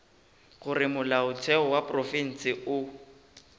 gore molaotheo wa profense o